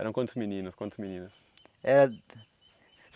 Eram quantos meninos, quantas meninas? Era